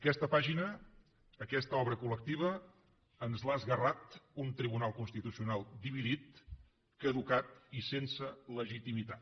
aquesta pàgina aquesta obra col·lectiva ens l’ha esguerrat un tribunal constitucional dividit caducat i sense legitimitat